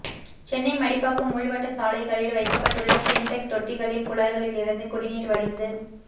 சென்னை மடிப்பாக்கம் உள்வட்டச் சாலைகளில் வைக்கப்பட்டுள்ள சின்டெக் தொட்டிகளின் குழாய்களில் இருந்து குடிநீர் வடிந்து